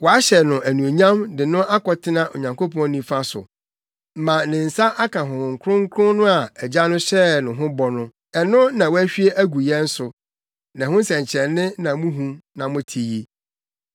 Wɔahyɛ no anuonyam de no akɔtena Onyankopɔn nifa so ma ne nsa aka Honhom Kronkron no a Agya no hyɛɛ no ho bɔ no; ɛno na wahwie agu yɛn so, na ɛho nsɛnkyerɛnne na muhu na mote yi.